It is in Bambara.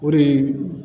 O de ye